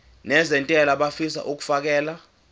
nezentela abafisa uukfakela